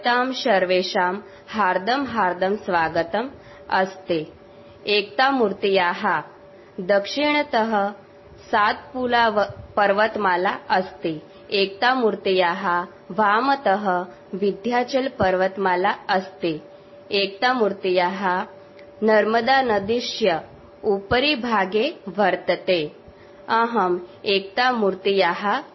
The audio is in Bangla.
স্ট্যাচু অফ ইউনিটির সাউন্ড ক্লিপকপি করার প্রয়োজন নেই